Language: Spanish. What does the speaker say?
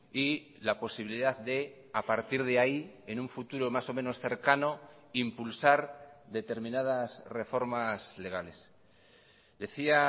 y la posibilidad de a partir de ahí en un futuro más o menos cercano impulsar determinadas reformas legales decía